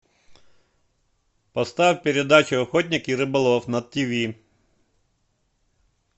поставь передачу охотник и рыболов на тв